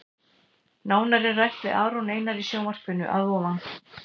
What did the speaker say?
Nánar er rætt við Aron Einar í sjónvarpinu að ofan.